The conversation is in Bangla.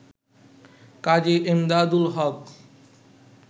কাজী এমদাদুল হক